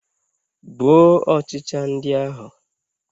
Gbuo ọchịcha ndị ahụ.